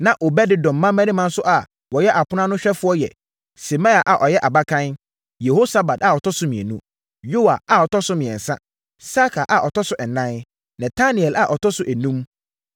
Na Obed-Edom mmammarima nso a wɔyɛ apono ano ahwɛfoɔ yɛ: Semaia a ɔyɛ abakan, Yehosabad a ɔtɔ so mmienu, Yoa a ɔtɔ so mmiɛnsa, Sakar a ɔtɔ so ɛnan, Netanel a ɔtɔ so enum,